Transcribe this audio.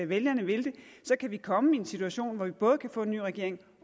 vælgerne vil det kan vi komme i en situation hvor vi både kan få en ny regering